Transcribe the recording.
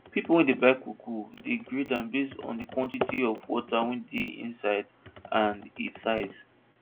pipo wey dey buy cocoa dey grade am based on quantity of water wey dey inside and e size